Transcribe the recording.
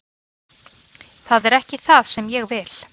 Það er ekki það sem ég vil.